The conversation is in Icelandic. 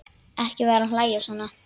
Ekki vera að hlæja svona.